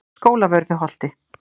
Skólavörðuholti